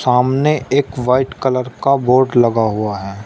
हमने एक white colour का बोर्ड लगा हुआ है।